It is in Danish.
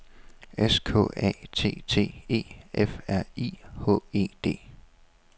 S K A T T E F R I H E D